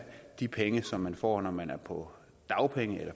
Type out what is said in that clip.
de penge som man får når man er på dagpenge